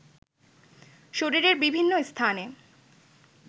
শরীরের বিভিন্ন স্থানে